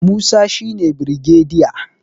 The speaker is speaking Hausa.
Musa shi ne birgediya